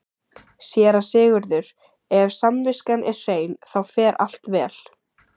SÉRA SIGURÐUR: Ef samviskan er hrein, þá fer allt vel.